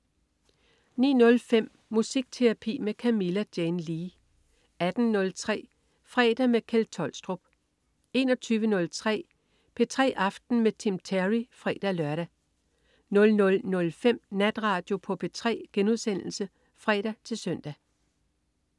09.05 Musikterapi med Camilla Jane Lea 18.03 Fredag med Kjeld Tolstrup 21.03 P3 aften med Tim Terry (fre-lør) 00.05 Natradio på P3* (fre-søn)